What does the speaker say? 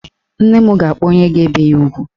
Nne m ga-akpọ onye ga-ebe ya ugwu.